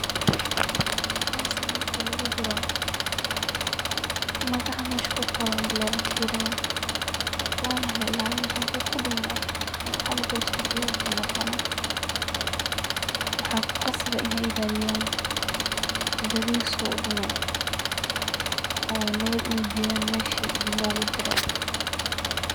parcel marki lugu diro magaca mesha kuqoran le lafiirina, wana la ilaalina, handu kudhumo lacag dul sar ayagu kunoqonaa, maxa kuqasab eh inay ilaaliyan beri su uu udhumin oo nabad ugeyan meshii logu dire